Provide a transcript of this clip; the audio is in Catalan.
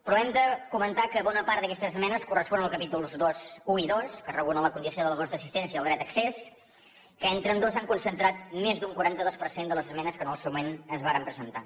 però hem de comentar que bona part d’aquestes esmenes corresponen als capítols i i ii que regulen la condició del gos d’assistència i el dret d’accés que entre ambdós han concentrat més d’un quaranta dos per cent de les esmenes que en el seu moment es varen presentar